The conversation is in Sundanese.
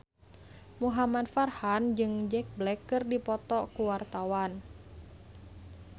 Muhamad Farhan jeung Jack Black keur dipoto ku wartawan